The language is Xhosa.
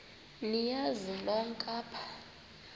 niyazi nonk apha